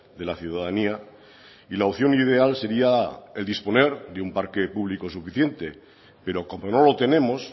de la ciudadanía y la opción ideal sería el disponer de un parque público suficiente pero como no lo tenemos